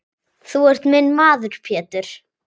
Þú ert minn maður Pétur.